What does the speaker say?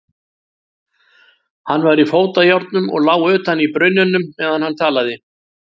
Hann var í fótajárnum og lá utan í brunninum meðan hann talaði.